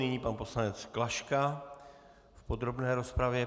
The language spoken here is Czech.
Nyní pan poslanec Klaška v podrobné rozpravě.